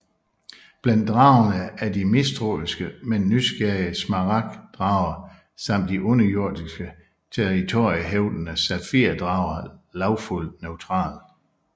Blandt dragerne er de mistroiske men nysgerrige smaragd drager samt de underjordiske territoriehævdende safir drager Lawful Neutral